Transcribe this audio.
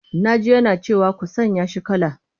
Na ji yana cewa 'ku sanya shi kala!'